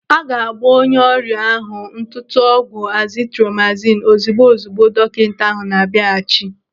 Aga agba onye ọrịa ahụ ntụtụ ọgwụ azitromasinu ozigbo ozigbo dọkịta ahụ na-abịaghachi.